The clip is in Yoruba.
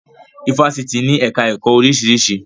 Ifásitì ní ẹ̀ká ẹ̀kọ́ oríṣiríṣi